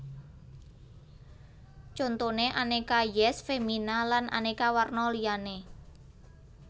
Contone Aneka Yess Femina lan aneka warna liyane